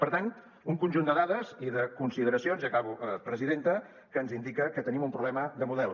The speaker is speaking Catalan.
per tant un conjunt de dades i de consideracions i acabo presidenta que ens indica que tenim un problema de model